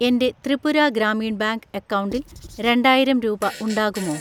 എൻ്റെ ത്രിപുര ഗ്രാമീൺ ബാങ്ക് അക്കൗണ്ടിൽ രണ്ടായിരം രൂപ ഉണ്ടാകുമോ?